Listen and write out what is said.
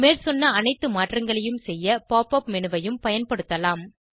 மேற்சொன்ன அனைத்து மாற்றங்களை செய்ய pop உப் மேனு ஐயும் பயன்படுத்தலாம்